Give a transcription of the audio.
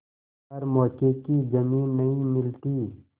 पर मौके की जमीन नहीं मिलती